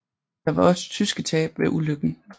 Der var også tyske tab ved ulykken